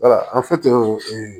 wala an fɛ